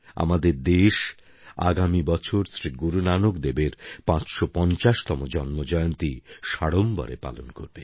আমাদের দেশ আগামী বছর শ্রী গুরুনানক দেবের ৫৫০তম জন্মজয়ন্তী সাড়ম্বরে পালন করবে